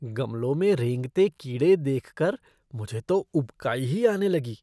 गमलों में रेंगते कीड़े देखकर मुझे तो उबकाई ही आने लगी।